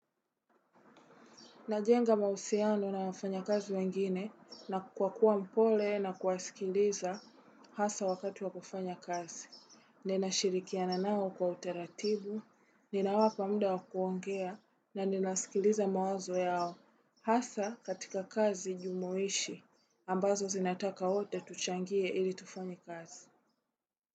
Najenga mahusiano na wafanyakazi wengine na kwa kuwa mpole na kuwasikiliza hasa wakati wa kufanya kazi. Ninashirikiana nao kwa utaratibu, ninawapa muda wa kuongea na ninasikiliza mawazo yao. Hasa katika kazi jumoishi ambazo zinataka wote tuchangie ili tufanye kazi.